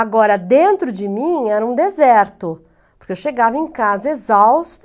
Agora, dentro de mim era um deserto, porque eu chegava em casa exausta,